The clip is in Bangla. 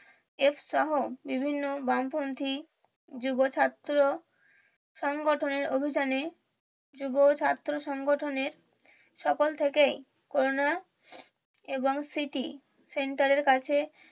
এফ সহ বিভিন্ন বাম পন্থী যুব ছাত্র সংগঠনের অভিযানে যুব ছাত্র সংগঠনের সকাল থেকেই করুনা এবং স্মৃতি সেন্টারের কাছে